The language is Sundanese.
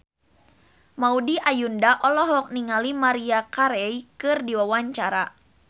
Maudy Ayunda olohok ningali Maria Carey keur diwawancara